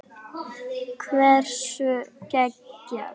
Hversu geggjað?